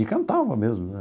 E cantava mesmo né.